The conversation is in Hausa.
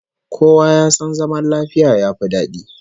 Kowa ya san zaman lafiya yafi dadi